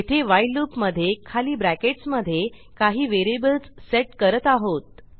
येथे व्हाईल loopमधे खाली ब्रॅकेटस् मधे काही व्हेरिएबल्स सेट करत आहोत